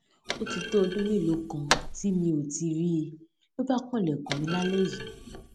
ó ti tó ọdún mélòó kan tí mi ò ti rí i ló bá kanlèkùn mi lálé yìí